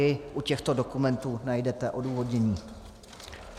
I u těchto dokumentů najdete odůvodnění.